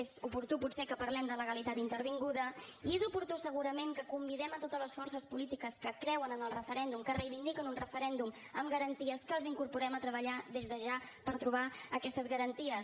és oportú potser que parlem de legalitat intervinguda i és oportú segurament que convidem a totes les forces polítiques que creuen en el referèndum que reivindiquen un referèndum amb garanties que els incorporem a treballar des de ja per trobar aquestes garanties